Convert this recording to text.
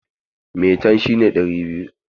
Maitan shi ne ɗari biyu.